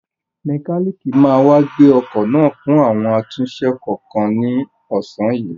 Mẹkálíìkì máa wá gbé ọkọ̀ náà fún àwọn àtúnṣe kọ̀ọ̀kan ní ọ̀sán yìí.